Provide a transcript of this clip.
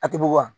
A tɛ bɔ wa